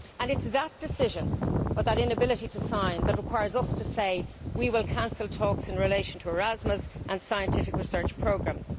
It is that decision, or that inability to sign, that requires us to say we will cancel talks in relation to Erasmus and scientific research programmes.